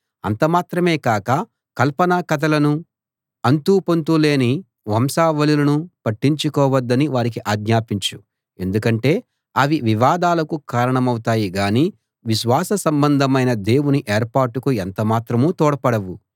అంత మాత్రమే కాక కల్పనా కథలను అంతూ పొంతూ లేని వంశావళులను పట్టించుకోవద్దని వారికి ఆజ్ఞాపించు ఎందుకంటే అవి వివాదాలకు కారణమౌతాయే గాని విశ్వాస సంబంధమైన దేవుని ఏర్పాటుకు ఎంత మాత్రమూ తోడ్పడవు